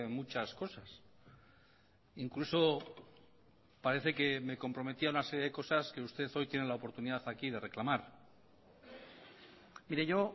muchas cosas incluso parece que me comprometí a una serie de cosas que usted hoy tiene la oportunidad aquí de reclamar mire yo